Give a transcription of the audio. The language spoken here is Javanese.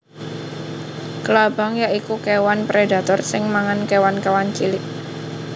Klabang ya iku kéwan predator sing mangan kéwan kéwan cilik